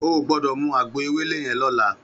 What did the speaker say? Ó gbòdò mú àgbó éwélé yèn lòlá